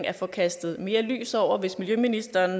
at få kastet mere lys over hvis miljøministeren